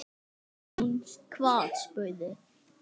Er hún hvað, spurði